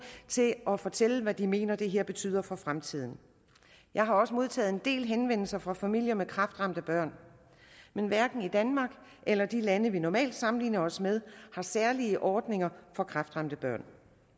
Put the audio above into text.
til at fortælle hvad de mener det her betyder for fremtiden jeg har også modtaget en del henvendelser fra familier med kræftramte børn men hverken danmark eller de lande vi normalt sammenligner os med har særlige ordninger for kræftramte børn